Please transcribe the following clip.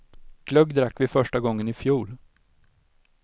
Glögg drack vi första gången i fjol.